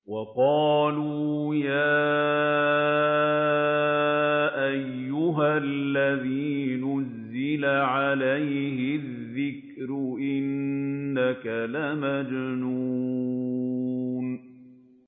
وَقَالُوا يَا أَيُّهَا الَّذِي نُزِّلَ عَلَيْهِ الذِّكْرُ إِنَّكَ لَمَجْنُونٌ